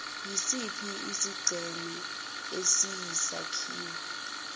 isiphi isigceme esiyisakhiwo